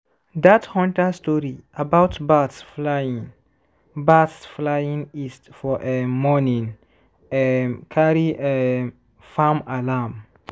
dat hunter story about bats flying bats flying east for um morning um carry um farm alarm.